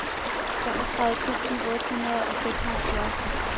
femogtredive tusind otte hundrede og seksoghalvfjerds